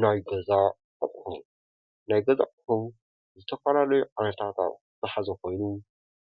ናይ ገዛ ኣቁሑ፡- ናይ ገዛ ኣቁሑ ዝተፈላለዩ ዓይነታት ኣቁሑ ዝሓዘ ኮይኑ